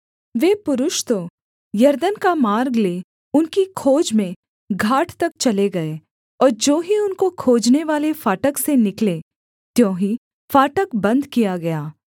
वे पुरुष तो यरदन का मार्ग ले उनकी खोज में घाट तक चले गए और ज्यों ही उनको खोजनेवाले फाटक से निकले त्यों ही फाटक बन्द किया गया